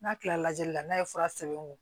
N'a tilala lajɛli la n'a ye fura sɛbɛnw